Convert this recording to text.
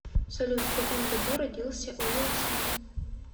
салют в каком году родился уилл смит